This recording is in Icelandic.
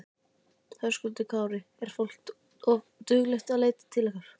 Höskuldur Kári: Er fólk duglegt að leita til ykkar?